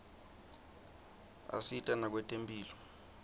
asita nakwetemphilo